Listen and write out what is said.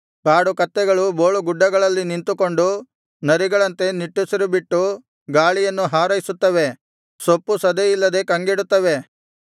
ಕಾಡುಕತ್ತೆಗಳು ಬೋಳುಗುಡ್ಡಗಳಲ್ಲಿ ನಿಂತುಕೊಂಡು ನರಿಗಳಂತೆ ನಿಟ್ಟುಸಿರುಬಿಟ್ಟು ಗಾಳಿಯನ್ನು ಹಾರೈಸುತ್ತವೆ ಸೊಪ್ಪುಸದೆಯಿಲ್ಲದೆ ಕಂಗೆಡುತ್ತವೆ